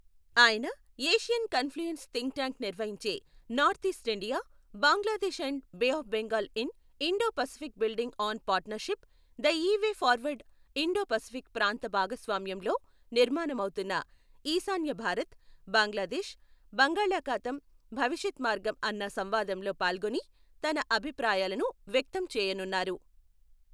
ఆయన Asian confluence think tank నిర్వహించే north east India, Bangladesh and bay of Bengal in Indo Pacific building on partnership the way forward Indo Pacific ప్రాంత భాగస్వామ్యంలో నిర్మాణమవుతున్న ఈశాన్య భారత్, బాంగ్లాదేశ్, బంగాళాఖాతం భవిష్యత్ మార్గం అన్న సంవాదంలో పాల్గొని తన అభిప్రాయాలను వ్యక్తం చేయనున్నారు.